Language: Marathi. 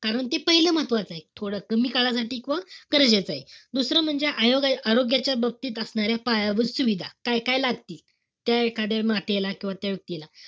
आरोग्य पाहिलं महत्वाचंय. थोडं कमी काळासाठी व गरजेचंय. दुसरं म्हणजे आ~ आरोग्याच्या बाबतीत असणाऱ्या पायाभूत सुविधा. काय-काय लागते. त्या एखाद्या मातेला किंवा त्या व्यक्तीला.